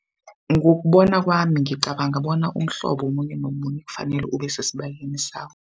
Ngokubona kwami ngicabanga bona umhlobo omunye nomunye kufanele ubesesibayeni sawo.